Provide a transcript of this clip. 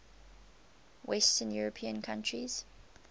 western european countries